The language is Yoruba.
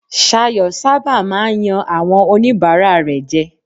Ṣayọ̀ sábà máa ń yan àwọn oníbàárà rẹ̀ jẹ.